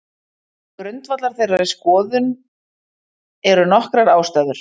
Til grundvallar þeirri skoðun eru nokkrar ástæður.